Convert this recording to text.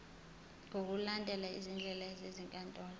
ngokulandela izindlela zezinkantolo